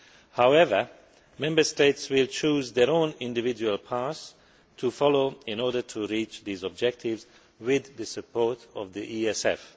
However, Member States will choose their own individual paths to follow in order to reach these objectives with the support of the ESF.